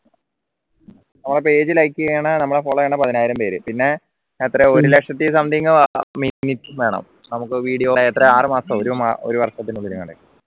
നമ്മളെ page like ചെയ്യണ നമ്മള follow ചെയ്യണ പതിനായിരം പേര് പിന്നെ ഒരു ലക്ഷത്തി something minute വേണം നമുക്ക് video എത്ര ആറുമാസം ഒരു വർഷം